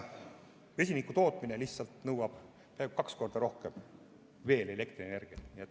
Vesinikutootmine nõuab peaaegu kaks korda rohkem elektrienergiat.